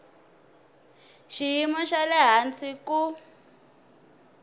xiyimo xa le hansi ku